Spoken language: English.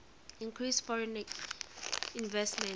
increased foreign investment